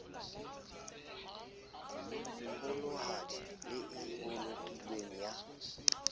kgolohadi le e bolokilweng ya